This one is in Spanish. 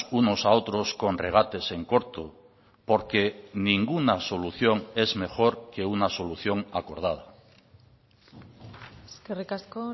unos a otros con regates en corto porque ninguna solución es mejor que una solución acordada eskerrik asko